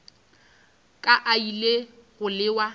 ka a ile go lewa